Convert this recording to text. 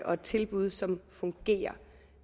og et tilbud som fungerer